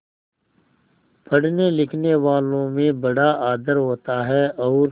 पढ़नेलिखनेवालों में बड़ा आदर होता है और